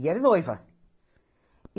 E era noiva.